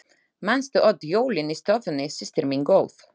Manstu öll jólin í stofunni systir mín góð.